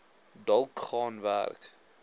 dalk gaan werk